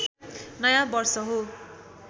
नयाँ वर्ष हो